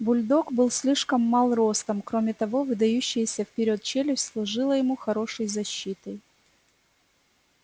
бульдог был слишком мал ростом кроме того выдающаяся вперёд челюсть служила ему хорошей защитой